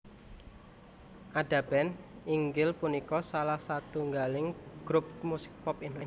Ada Band inggih punika salah satunggaling grup musik pop Indonesia